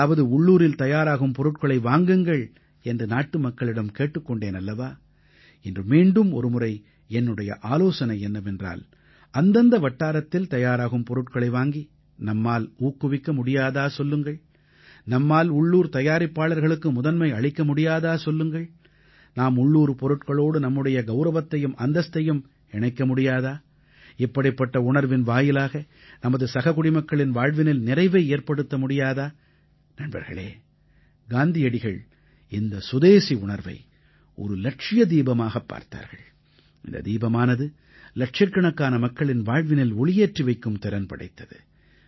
அதாவது உள்ளூரில் தயாராகும் பொருட்களை வாங்குங்கள் என்று நாட்டுமக்களிடம் கேட்டுக் கொண்டேன் அல்லவா இன்று மீண்டும் ஒருமுறை என்னுடைய ஆலோசனை என்னவென்றால் அந்தந்த வட்டாரத்தில் தயாராகும் பொருட்களை வாங்கி நம்மால் ஊக்குவிக்க முடியாதா சொல்லுங்கள் நம்மால் உள்ளூர் தயாரிப்பாளர்களுக்கு முதன்மை அளிக்க முடியாதா சொல்லுங்கள் நாம் உள்ளூர் பொருட்களோடு நம்முடைய கௌரவத்தையும் அந்தஸ்தையும் இணைக்க முடியாதா இப்படிப்பட்ட உணர்வின் வாயிலாக நமது சக குடிமக்களின் வாழ்வினில் நிறைவை ஏற்படுத்த முடியாதா நண்பர்களே காந்தியடிகள் இந்த சுதேஸி உணர்வை ஒரு இலட்சிய தீபமாகப் பார்த்தார்கள் இந்த தீபமானது இலட்சக்கணக்கான மக்களின் வாழ்வினில் ஒளியேற்றி வைக்கும் திறன் படைத்தது